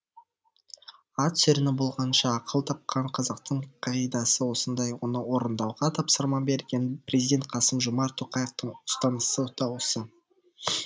ат сүрініп болғанша ақыл тапқан қазақтың қағидасы осындай оны орындауға тапсырма берген президент қасым жомарт тоқаевтың ұстанысы да осы